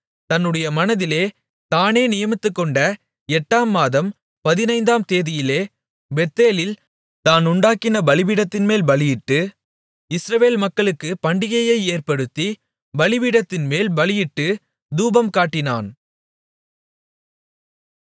தன்னுடைய மனதிலே தானே நியமித்துக் கொண்ட எட்டாம் மாதம் பதினைந்தாம் தேதியிலே பெத்தேலில் தான் உண்டாக்கின பலிபீடத்தின்மேல் பலியிட்டு இஸ்ரவேல் மக்களுக்குப் பண்டிகையை ஏற்படுத்தி பலிபீடத்தின்மேல் பலியிட்டுத் தூபம் காட்டினான்